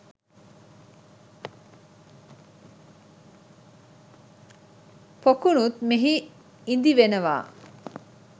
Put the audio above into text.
පොකුණුත් මෙහි ඉදි වෙනවා